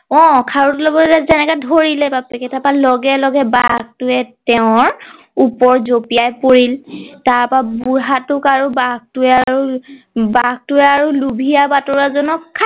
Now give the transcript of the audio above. অ খাৰুটো লবলৈ এনেকে ধৰিলে বাপেকে তাৰ পা লগে লগে বাঘ টোৱে তেওঁৰ ওপৰত জঁপিয়াই পৰিল তাৰ পৰা বুঢ়া টোক আৰু বাঘ টোৱে আৰু লোভিয়া বাটোৰোৱা জনক খাই